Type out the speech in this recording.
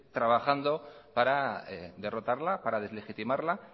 trabajando para derrotarla para deslegitimarla